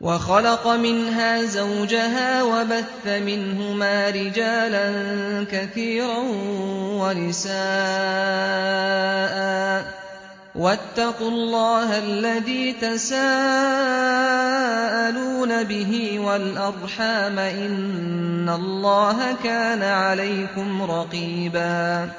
وَخَلَقَ مِنْهَا زَوْجَهَا وَبَثَّ مِنْهُمَا رِجَالًا كَثِيرًا وَنِسَاءً ۚ وَاتَّقُوا اللَّهَ الَّذِي تَسَاءَلُونَ بِهِ وَالْأَرْحَامَ ۚ إِنَّ اللَّهَ كَانَ عَلَيْكُمْ رَقِيبًا